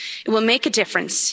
It will make a difference.